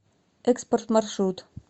экспорт маршрут